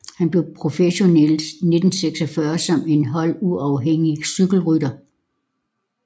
Han blev professionel i 1946 som en holduafhængig cykelrytter